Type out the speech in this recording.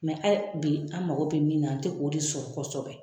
bi an mago bɛ min na an tɛ k'o de sɔrɔ kɔsɔbɛ.